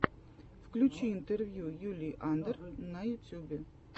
включи интервью юлии андр на ютюбе